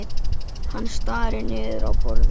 Hann starir niður í borðið.